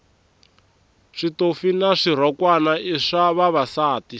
switofi na swirhokwana i swa vavasati